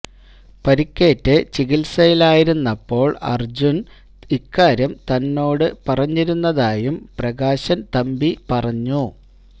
പരുക്കേറ്റ് ചികിത്സയിലായിരുന്നപ്പോൾ അർജുൻ ഇക്കാര്യം തന്നോട് പറഞ്ഞിരുന്നതായും പ്രകാശൻ തമ്പി പറഞ്ഞു